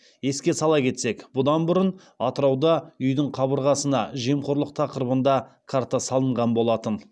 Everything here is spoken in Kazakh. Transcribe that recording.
еске сала кетсек бұдан бұрын атырауда үйдің қабырғасына жемқорлық тақырыбында карта салынған болатын